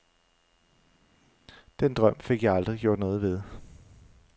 Den drøm fik jeg aldrig gjort noget ved.